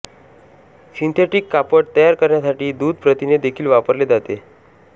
synthetic कापड तयार करण्यासाठी दूध प्रथिने देखील वापरले जाते